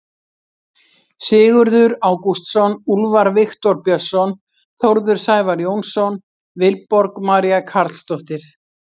Sigurður Ágústsson, Úlfar Viktor Björnsson, Þórður Sævar Jónsson, Vilborg María Carlsdóttir.